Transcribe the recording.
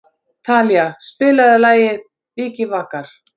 Talía, spilaðu lagið „Vikivakar“.